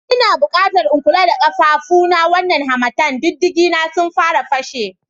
Ina bukata in kula da ƙafafuna wannan harmattan, diddigena sun fara fashe.